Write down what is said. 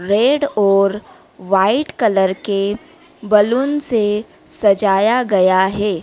Red और white colour के balloon से सजाया गया है।